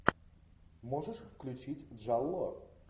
можешь включить джалло